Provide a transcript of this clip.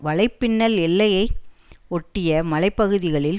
வலைப்பின்னல் எல்லையை ஒட்டிய மலை பகுதிகளில்